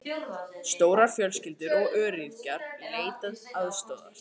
Stórar fjölskyldur og öryrkjar leita aðstoðar